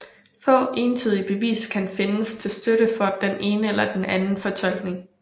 Få entydige beviser kan findes til støtte for den ene eller den anden fortolkning